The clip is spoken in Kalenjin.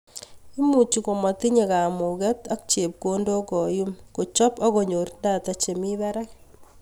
Imuchi komatinye kamuket ak chepkondok koyuum , kochob ak konyor data chemii barak